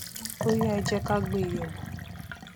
óyá ẹ jẹ ká gbé e yẹwò